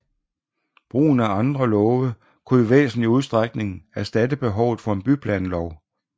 Brugen af andre love kunne i væsentlig udstrækning erstatte behovet for en byplanlov